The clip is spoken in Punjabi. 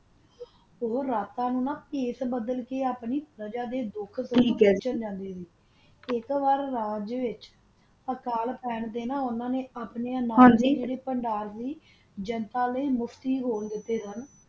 ਤਾ ਓਹੋ ਰਤਾ ਨੂ ਬੱਸ ਬਦਲ ਕਾ ਆਪਣੀ ਪਰਜਾ ਦਾ ਦੋਖ ਸੋਂਦਾ ਆਈ ਤਾ ਓਨਾ ਨਾ ਆਪਣੀ ਜਨਤਾ ਲੈ ਮੁਫ੍ਤੀ ਖੋਲ ਦਿਤਾ ਸਨ